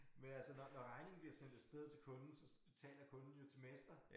Men altså når når regningen bliver sendt af sted til kunden så betaler kunden jo til mester